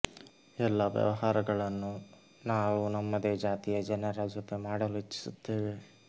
ಎಲ್ಲಾ ವ್ಯವಹಾರಗಳನ್ನು ನಾವು ನಮ್ಮದೇ ಜಾತಿಯ ಜನರ ಜೊತೆ ಮಾಡಲು ಇಚ್ಛಿಸುತ್ತೇವೆ